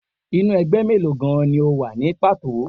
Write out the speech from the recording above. Inú ẹgbẹ́ mélòó gan-an ni o wà ní pàtó?